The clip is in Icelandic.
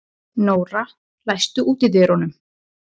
Nóra, læstu útidyrunum.